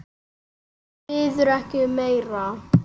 Maður biður ekki um meira.